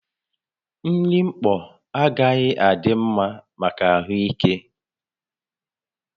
Nri mkpọ agaghị adị mma maka ahụ ike